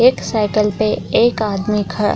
एक साइकल पे एक आदमी ख --